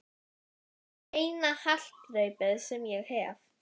Það er eina haldreipið sem ég hef.